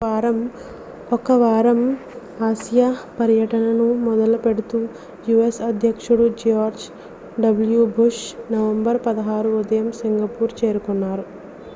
ఒక వారం ఆసియా పర్యటనను మొదలుపెడుతూ u.s. అధ్యక్షుడు george w bush నవంబర్ 16 ఉదయం సింగపూర్ చేరుకున్నారు